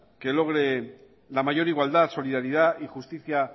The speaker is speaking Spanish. que logre la mayor igualdad solidaridad y justicia